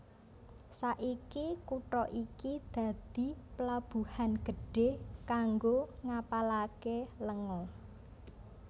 Saiki kutha iki dadi plabuhan gedhé kanggo ngapalaké lenga